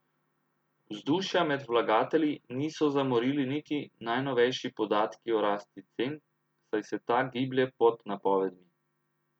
Vzdušja med vlagatelji niso zamorili niti najnovejši podatki o rasti cen, saj se ta giblje pod napovedmi.